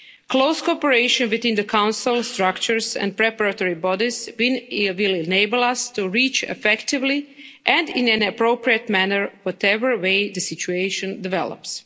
Close cooperation between the Council structures and preparatory bodies will enable us to reach, effectively and in an appropriate manner, whatever way the situation develops.